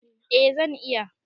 Eh zan iya